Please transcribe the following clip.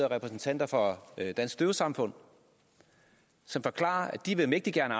repræsentanter for dansk døvesamfund som forklarer at de mægtig gerne